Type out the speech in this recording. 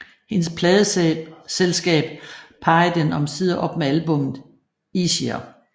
Hendes pladeselskab parrede den omsider op med albummet Easier